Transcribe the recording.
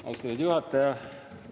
Austatud juhataja!